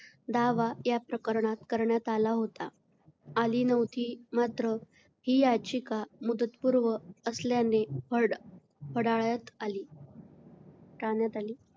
दावा या प्रकरणात करण्यात आला होता, आली नव्हती. मात्र, ही याचिका मुदतपूर्व असल्याने फड फडाळत आली. फेटाळण्यात आली.